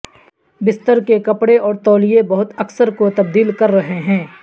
بستر کے کپڑے اور تولیے بہت اکثر کو تبدیل کر رہے ہیں